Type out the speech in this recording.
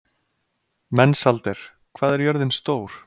Mensalder, hvað er jörðin stór?